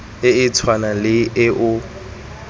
e e tshwanang le eo